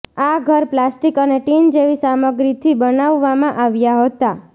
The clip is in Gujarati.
આ ઘર પ્લાસ્ટિક અને ટિન જેવી સામગ્રીથી બનાવવામાં આવ્યા હતા